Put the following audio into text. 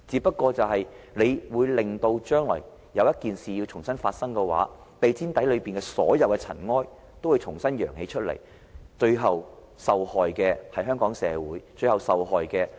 如果將來有一件事重新發生，地毯底下的所有塵埃，也會重新揚起，最後受害的是香港社會、是特區政府的管治威信。